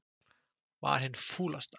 Var hin fúlasta.